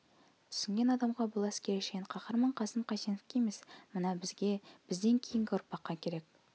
түсінген адамға бұл әскери шен қаһарман қасым қайсеновке емес мына бізге бізден кейінгі ұрпаққа керек